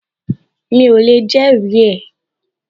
Mi ò lè jẹ́rìí ẹ